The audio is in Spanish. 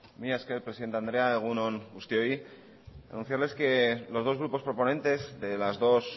mila esker presidente andrea egun on guztioi anunciarles que los dos grupos proponentes de las dos